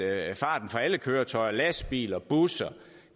at farten for alle køretøjer lastbiler busser